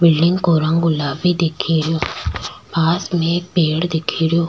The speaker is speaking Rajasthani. बिल्डिंग को रंग गुलाबी दिख रो पास में एक पेड़ दिख रो।